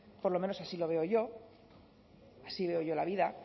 por lo menos así lo veo yo así veo yo la vida